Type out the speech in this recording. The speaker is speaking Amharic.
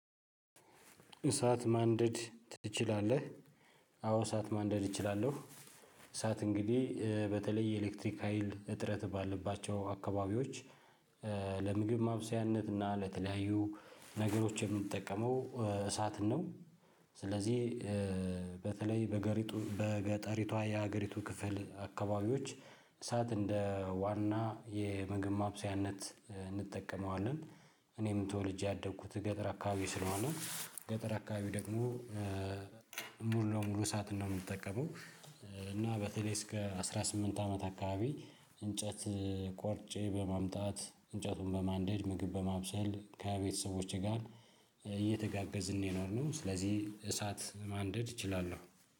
እሳት ማንደድ ትችላለህ? አዎ እሳት ማንደድ እችላለሁ። እሳት እንግዲህ በተለይ የኤሌክትሪክ ሀይል እጥረት ባለባቸው አካባቢዎች ለምግብ ማብሰያነት እና ለተለያዩ ነገሮች የምንጠቀመው እሳት ነው። ስለዚህ በተለይ በገሪቱ በገጠሪቷ የሀገሪቱ ክፍል አካባቢዎች እሳት እንደ ዋና የምግብ ማብሰያነት እንጠቀመዋለን። እኔም ተወልጄ ያደኩት ገጠር አካባቢ ስለሆነ ገጠር አካባቢ ደግሞ ሙሉ ለሙሉ እሳት ነው የምንጠቀመው። እና በተለይ እስከ አስራ ስምንት አመት አካባቢ እንጨት ቆርጬ በማምጣት እንጨቱን በማንደድ ምግብ በማብሰል ከቤተሰቦቼ ጋር እየተጋገዝን የኖርነው። ስለዚህ እሳት ማንደድ እችላለሁ።